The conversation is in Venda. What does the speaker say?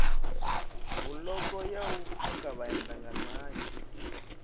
buloko ya u pfuka vhaendanganayo